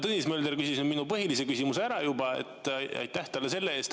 Tõnis Mölder küsis minu põhilise küsimuse juba ära, aitäh talle selle eest.